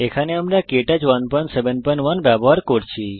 এখানে আমরা Ubuntu Linux 1110 এ কে টচ 171 ব্যবহার করছি